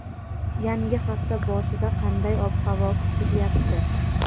Yangi hafta boshida qanday ob-havo kutilyapti?.